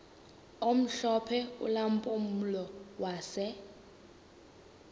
omhlophe ulampulo wase